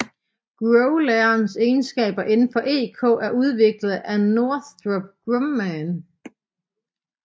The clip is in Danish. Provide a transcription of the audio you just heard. Growlerens egenskaber indenfor EK er udviklet af Northrop Grumman